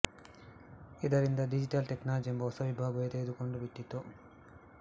ಇದರಿಂದಾಗಿ digital technology ಎಂಬ ಹೊಸ ವಿಭಾಗವೇ ತೆರೆದುಕೊಂಡು ಬಿಟ್ಟಿತು